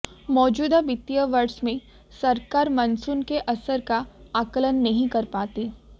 मौजूदा वित्तीय वर्ष में सरकार मानसून के असर का आकलन नहीं कर पाती